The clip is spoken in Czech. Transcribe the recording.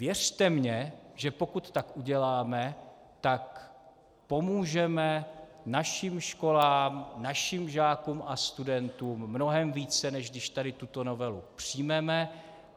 Věřte mně, že pokud tak uděláme, tak pomůžeme našim školám, našim žákům a studentům mnohem více, než když tady tuto novelu přijmeme.